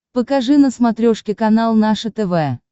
покажи на смотрешке канал наше тв